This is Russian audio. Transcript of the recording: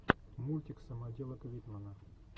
мультик самоделок витмана